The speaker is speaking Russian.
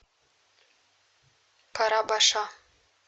карабаша